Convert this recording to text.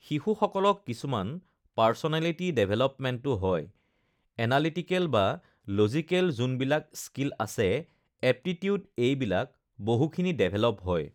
শিশুসকলক কিছুমান পাৰ্চনেলিটি ডেভেলপমেণ্টো হয়, এনালিটিকেল বা লজিকেল যোনবিলাক স্কিল আছে, এপটিটিউড এইবিলাক বহুখিনি ডেভেলপ হয়